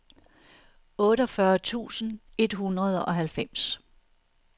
otteogfyrre tusind et hundrede og halvfems